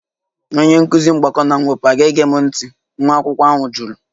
Onye nkụzi mgbakọ na mwepụ aga-ege m ntị? nwa akwụkwọ ahụ jụrụ